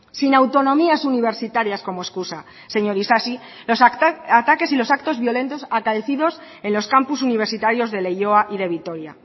sin autonomías universitarias como escusa señor isasi los ataques y los actos violentos acaecidos en los campus universitarios de leioa y de vitoria